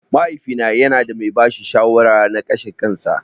Mahaifina yanada mai bashi shawara na ƙashin kansa.